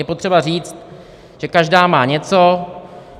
Je potřeba říct, že každá má něco.